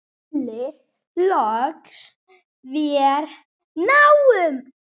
allir loks vér náum.